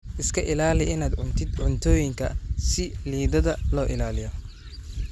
Iska ilaali inaad cuntid cuntooyinka si liidata loo ilaaliyo.